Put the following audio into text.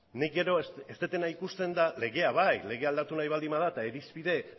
nik gero ez dudana ikusten da legea bai legea aldatu nahi baldin bada eta irizpide